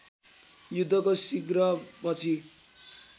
युद्धको शीघ्र पछि